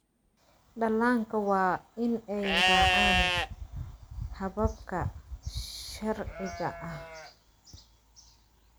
Dhallaanka waa in ay raacaan hababka sharciga ah.